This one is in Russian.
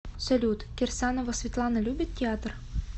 салют кирсанова светлана любит театр